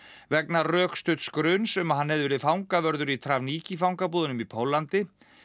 vegna rökstudds gruns um að hann hefði verið fangavörður í fangabúðunum í Póllandi